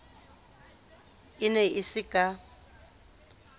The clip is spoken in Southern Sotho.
e ne e se ka